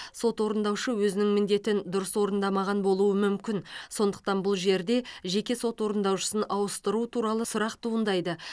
сот орындаушы өзінің міндетін дұрыс орындамаған болуы мүмкін сондықтан бұл жерде жеке сот орындаушысын ауыстыру туралы сұрақ туындайды